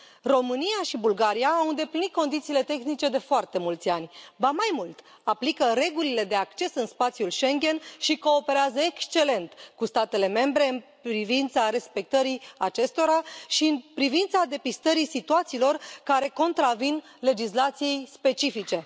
România și Bulgaria au îndeplinit condițiile tehnice de foarte mulți ani, ba, mai mult, aplică regulile de acces în spațiul Schengen și cooperează excelent cu statele membre în privința respectării acestora și în privința depistării situațiilor care contravin legislației specifice.